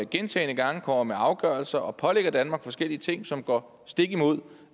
gentagne gange kommer med afgørelser og pålægger danmark forskellige ting som går stik imod